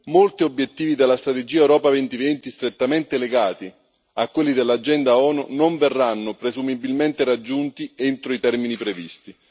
Molti obiettivi dalla strategia Europa 2020 strettamente legati a quelli dell'agenda ONU non verranno presumibilmente raggiunti entro i termini previsti.